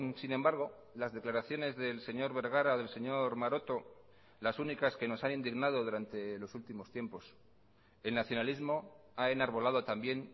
sin embargo las declaraciones del señor bergara del señor maroto las únicas que nos han indignado durante los últimos tiempos el nacionalismo ha enarbolado también